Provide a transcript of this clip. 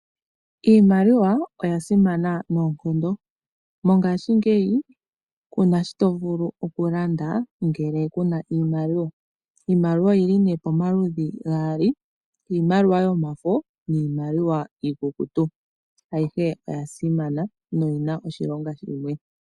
Iimaliwa oya simana noonkondo. Mongaashingeyi kuna shi tovulu okulanda, ngele kuna iimaliwa. Iimaliwa oyili ne pamaludhi gaali. Iimaliwa yomafo, niimaliwa iikukutu, ayihe oya simana, noyina oshilonga shimwe.